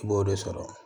I b'o de sɔrɔ